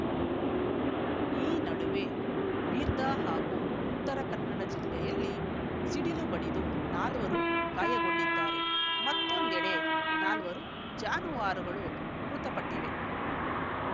ಈ ನಡುವೆ ಬೀದರ್‌ ಹಾಗೂ ಉತ್ತರ ಕನ್ನಡ ಜಿಲ್ಲೆಯಲ್ಲಿ ಸಿಡಿಲು ಬಡಿದು ನಾಲ್ವರು ಗಾಯಗೊಂಡಿದ್ದಾರೆ ಮತ್ತೊಂದೆಡೆ ನಾಲ್ವರು ಜಾನುವಾರುಗಳು ಮೃತಪಟ್ಟಿವೆ